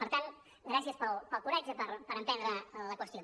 per tant gràcies pel coratge i per emprendre la qüestió